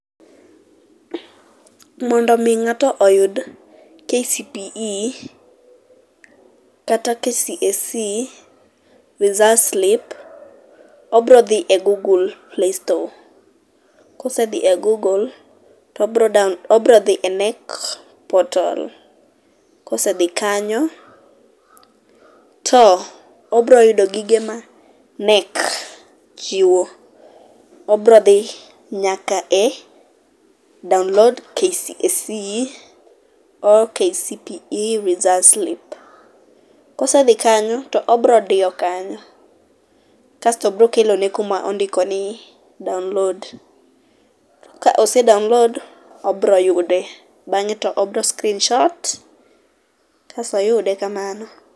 Mondo mi ngato oyud KCPE kata KCSE results slip obiro dhi e google playstore kosedhi e google obiro dhi e KNEC portal, kosedhi kanyo obro yudo gigo ma KNEC chiwo, obro dhi nyaka e download KCSE or KCPE results slip[sc]. Kosedhi kanyo to obro diyo kanyo kasto biro kelone kama ondiko ni download, kose download to obro yude ,bange to obro screenshot kasto oyude kamano